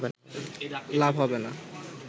লাভ হবে না